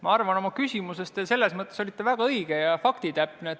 Ma arvan, et oma küsimuses väljendasite te end väga õigesti ja faktitäpselt.